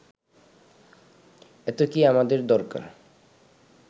এত কি আমাদের দরকার